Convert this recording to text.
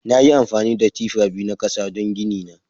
Nayi amfani da tifa biyu na kasa don gini na.